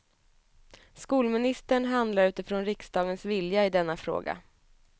Skolministern handlar utifrån riksdagens vilja i denna fråga.